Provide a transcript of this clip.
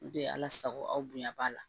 N tɛ ala sago aw bonya b'a la